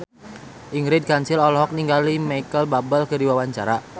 Ingrid Kansil olohok ningali Micheal Bubble keur diwawancara